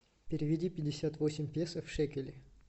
переведи пятьдесят восемь песо в шекели